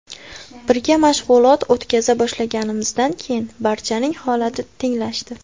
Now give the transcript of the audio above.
Birga mashg‘ulot o‘tkaza boshlaganimizdan keyin barchaning holati tenglashdi.